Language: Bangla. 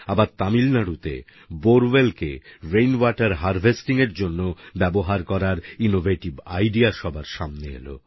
আবার তামিলনাডুতে বোরওয়েল কে রেইনওয়াটের হার্ভেস্টিং এর জন্য ব্যবহার করার ইনোভেটিভ আইডিইএ সবার সামনে এলো